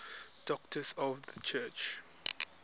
doctors of the church